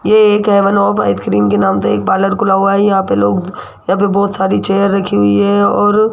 ये एक heaven of ice cream के नाम से एक पार्लर खुला हुआ है यहां पे लोग यहां पे बहुत सारी चेयर रखी हुई है और --